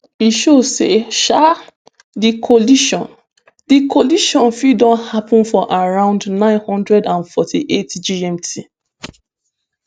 e show say um di collision di collision fit don happun for around nine hundred and forty-eight gmt